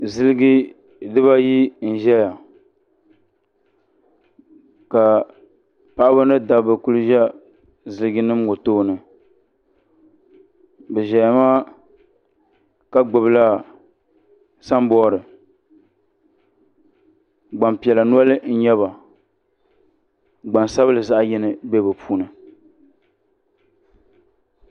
Ziliji di baa ayi n ʒɛya ka paɣaba ni dabba kuli za ziliji nim ŋɔ tooni bi ʒɛya maa gbubi la sanbɔri gbanpiɛla noli n nyɛba gbansabinli zaɣa yini bɛ bi puuni.